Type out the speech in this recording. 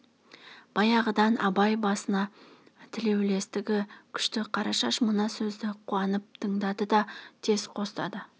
баяғыдан абай басына тілеулстігі күшті қарашаш мына сөзді қуанып тыңдады да тез қостады